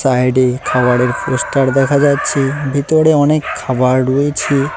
সাইডে খাবারের পোস্টার দেখা যাচ্ছে ভিতরে অনেক খাবার রয়েছে।